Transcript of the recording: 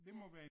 Ja